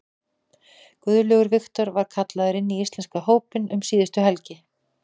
Guðlaugur Victor var kallaður inn í íslenska hópinn um síðustu helgi.